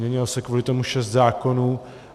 Měnilo se kvůli tomu šest zákonů.